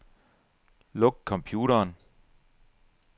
Luk computeren.